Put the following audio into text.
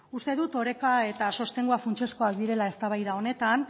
uste dut oreka eta sostengua funtsezkoak direla eztabaida honetan